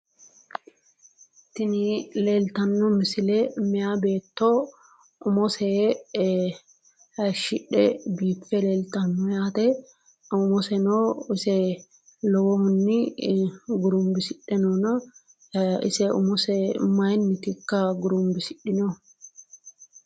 Tini leeltanno misile meyaa beetto umose hayishshidhe biiffe leeltanno yaate umoseno ise lowohunni gurunbisidhe noona ise umose mayinnitikka gurunbisidhdhinohu